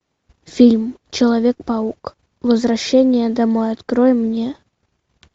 фильм человек паук возвращение домой открой мне